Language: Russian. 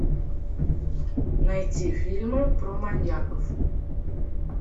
найти фильмы про маньяков